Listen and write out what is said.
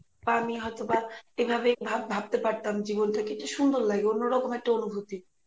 বা আমি হয়তো বা এভাবেই ভাব~ ভাবতে পারতাম জীবনটা কি সুন্দর লাগে অন্যরকম একটা অনুভুতি.